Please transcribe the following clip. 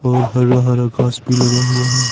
और हरा हरा घास भी लगा हुआ है।